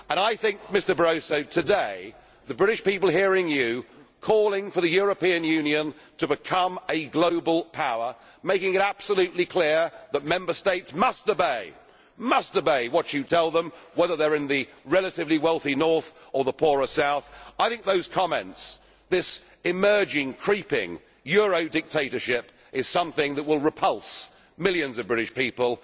I think today, Mr Barroso, the British people hearing you calling for the European Union to become a global power, making it absolutely clear that Member States must obey what you tell them, whether they are in the relatively wealthy north or the poorer south, I think those comments, this emerging, creeping, Euro dictatorship is something that will repulse millions of British people.